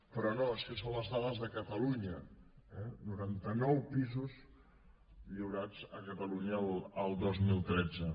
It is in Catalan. però no és que són les dades de catalunya eh noranta nou pisos lliurats a catalunya el dos mil tretze